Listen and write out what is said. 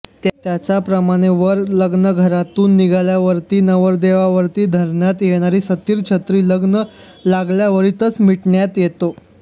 त्याचप्रमाणे वर लग्नघरातून निघाल्यावर्ती नवरदेवावर्ती धरण्यात येणारा सतिर छत्री लग्न लागल्यावरतीच मिटण्यात येतो